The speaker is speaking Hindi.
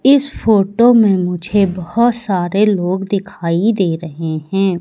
इस फोटो में मुझे बहोत सारे लोग दिखाई दे रहे हैं।